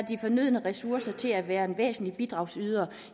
de fornødne ressourcer til at være en væsentlig bidragsyder